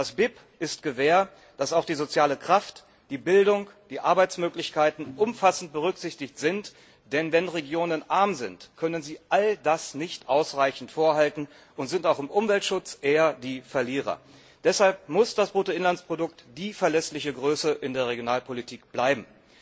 Das BIP ist Gewähr, dass auch die soziale Kraft, die Bildung, die Arbeitsmöglichkeiten umfassend berücksichtigt werden, denn wenn Regionen arm sind, können sie all das nicht ausreichend vorhalten und sind auch im Umweltschutz eher die Verlierer. Deshalb muss das Bruttoinlandsprodukt die verlässliche Größe in der Regionalpolitik bleiben.